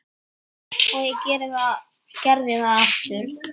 Eða það vona ég,